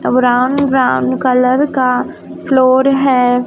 अ brown brown colour का floor है।